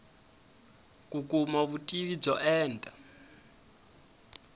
ku kuma vutivi byo enta